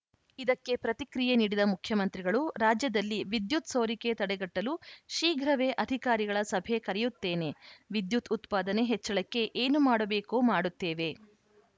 ಇದಕ್ಕೆ ಪ್ರತಿಕ್ರಿಯೆ ನೀಡಿದ ಮುಖ್ಯಮಂತ್ರಿಗಳು ರಾಜ್ಯದಲ್ಲಿ ವಿದ್ಯುತ್‌ ಸೋರಿಕೆ ತಡೆಗಟ್ಟಲು ಶೀಘ್ರವೇ ಅಧಿಕಾರಿಗಳ ಸಭೆ ಕರೆಯುತ್ತೇನೆ ವಿದ್ಯುತ್‌ ಉತ್ಪಾದನೆ ಹೆಚ್ಚಳಕ್ಕೆ ಏನು ಮಾಡಬೇಕೋ ಮಾಡುತ್ತೇವೆ